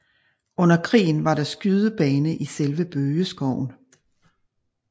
Under krigen var der skydebane i selve bøgeskoven